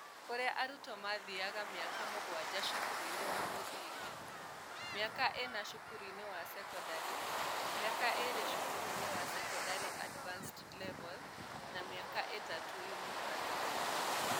Kũrĩa arutwo mathiaga mĩaka mũgwanja cukuru-inĩ wa mũthingi, mĩaka ĩna cukuru-inĩ wa sekondarĩ, mĩaka ĩĩrĩ cukuru-inĩ wa sekondarĩ (Advanced Level) na mĩaka ta ĩtatũ yunivasĩtĩ